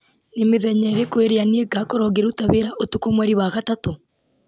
nĩ mĩthenya irĩkũ ĩrĩa niĩ ngakorwo ngĩruta wĩra ũtukũ mweri wa gatatũ